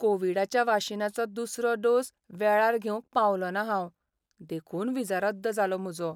कोवीडाच्या वाशिनाचो दुसरो डोस वेळार घेवंक पावलोंना हांव. देखून व्हिजा रद्द जालो म्हजो.